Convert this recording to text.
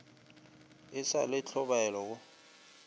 e sa le tlhobaelo go